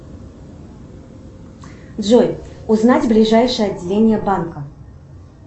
джой узнать ближайшее отделение банка